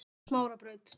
Smárabraut